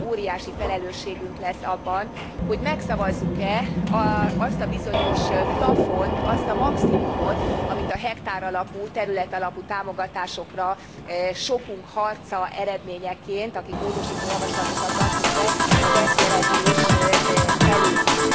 Holnap óriási felelősségünk lesz abban, hogy megszavazzuk e azt a bizonyos plafont, azt a maximumot, amit a hektár alapú, terület alapú támogatásokra sokunk harca eredményeként akik módosító javaslatokat adtunk be a Dess jelentés előír.